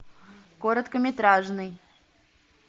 короткометражный